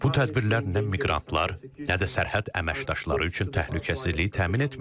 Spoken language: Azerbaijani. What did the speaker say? Bu tədbirlər nə miqrantlar, nə də sərhəd əməkdaşları üçün təhlükəsizliyi təmin etmir.